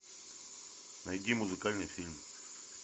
найди музыкальный фильм